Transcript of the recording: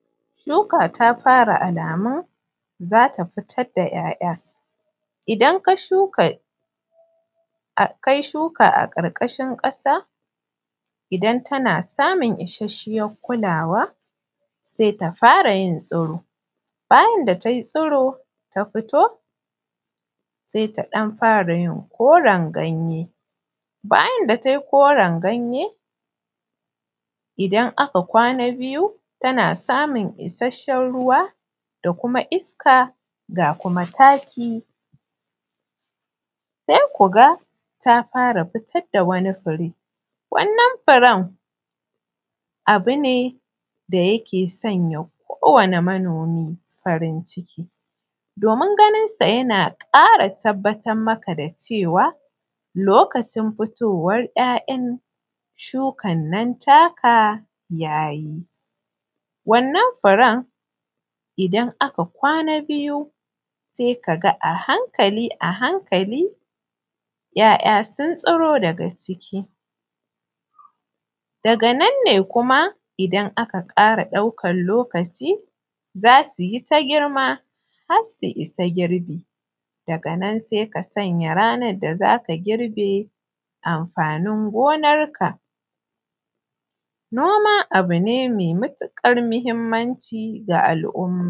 Shuka ta fara alamun za ta fitar da ‘ya’ya, idan kai shuka a karkashin kasa idan tana samun isasshiyar kulawa sai ta fara yin tsiro, bayan da tai tsiro ta fito sai ta fara yin ɗan koren ganye bayan da tai koren ganye idan aka kwana biyu tana samun isasshen ruwa da kuma iska ga kuma taki sai kuga ta fara fitar da wani fure wannan furen abu ne da yake sanya ko wane manomi farin ciki domin ganin hakan yana tabbatar maka da cewa lokacin fara fitowan ‘ya’yan wannan shukan taka ta yi. Wannan furen idan aka kwana biyu sai kaga a hankali a hankali ‘ya’ya sun fito daga ciki daga nan ne kuma idan aka kara daukan lokaci za su yi ta girma har su isa girbi daga nan ne za ka sanya ranan da za ka girbe amfanin gonarka.